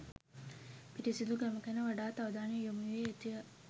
පිරිසුදුකම ගැන වඩාත් අවධානය යොමුවිය යුතු ය.